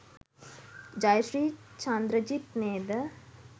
ජය ශ්‍රී චන්ද්‍රජිත් නේද?